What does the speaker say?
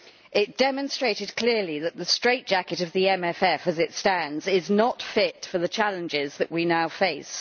It demonstrated clearly that the straightjacket of the MFF as it stands is not fit for the challenges that we now face.